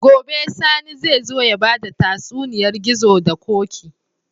Gobe sani zai zo yabada tatsuniyar gizo da koki